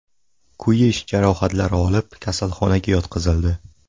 kuyish jarohatlari olib, kasalxonaga yotqizildi.